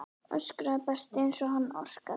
öskraði Berti eins og hann orkaði.